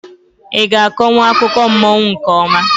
I ga-akonwu akụkọ mmụọ nke ọma?